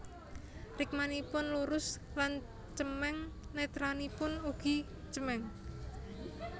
Rikmanipun lurus lan cemeng netranipun ugi cemeng